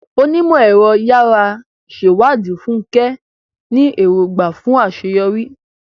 Onímọ̀-ẹ̀rọ yàrá ìṣèwádìí, Fúnkẹ́, ní èrògbà fún àṣeyọrí